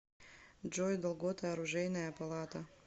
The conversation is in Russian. джой долгота оружейная палата